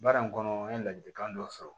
Baara in kɔnɔ n ye ladilikan dɔ sɔrɔ